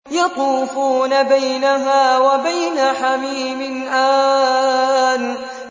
يَطُوفُونَ بَيْنَهَا وَبَيْنَ حَمِيمٍ آنٍ